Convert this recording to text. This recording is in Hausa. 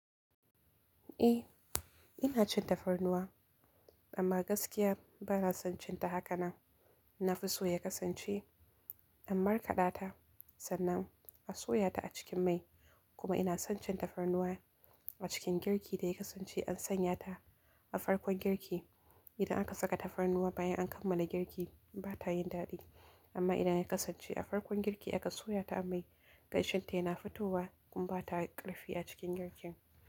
Eh, ina cin tafarnuwa amma gaskiya ba na son cin ta haka na. Na fi so ya kasance in markaɗa ta sannan a soya ta a cikin mai kuma ina son cin tafarnuwa a cikin girki da ya kasance an sanya ta a farkon girki. Idan aka saka tafarnuwa bayan an kammala girki ba ta yin daɗi amma idan ya kasance a farkon girki aka soya ta a mai gaishenta yana fitowa kuma ba ta ƙarfi a cikin girkin.